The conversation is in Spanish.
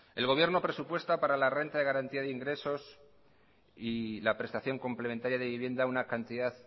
el gobierno presupuesta para la renta de garantía de ingresos y la prestación complementaria de vivienda una cantidad